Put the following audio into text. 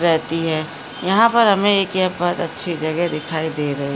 रहती है यहाँ पर हमें एक यहाँ बहुत अच्छी जगह दिखाई दे रही --